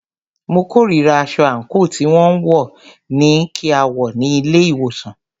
Mo kòrira aṣọ àńkò tí wọn ní kí a wọ̀ ní ilé ìwòsàn.